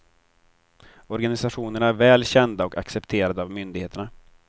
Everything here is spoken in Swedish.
Organisationerna är väl kända och accepterade av myndigheterna.